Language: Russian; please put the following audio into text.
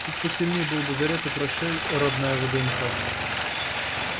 чуть посильнее был бы заряд и прощай родная вднх